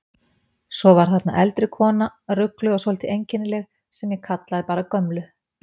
Svo var þarna eldri kona, rugluð og svolítið einkennileg, sem ég kallaði bara gömlu.